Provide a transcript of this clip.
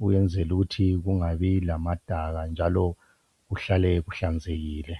ukwenzela ukuthi kungabi lamadaka njalo kuhlale kuhlanzekile.